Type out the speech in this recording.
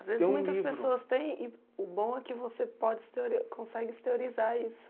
Às vezes muitas pessoas têm e o bom é que você pode se teorio consegue se teorizar isso.